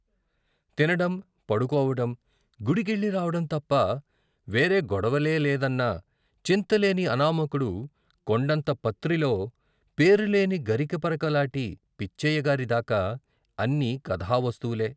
తినడం, పడుకోవడం, గుడికెళ్ళి రావడం తప్ప వేరే గొడవలేలేదన్న చింతలేని అనామకుడు కొండంత పత్రిలో పేరులేని గరికపరక లాటి పిచ్చయ్యగారి దాకా అన్నీ కథా వస్తువులే.